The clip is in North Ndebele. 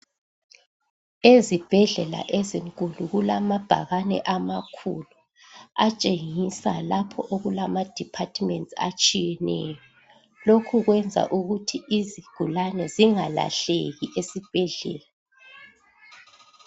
Ezibhedlela ezinkulu kulamabhakani amakhulu atshengisa lapho okulama departments atshiyeneyo lokhu kwenza ukuthi izigulane zingalahleki esibhedlela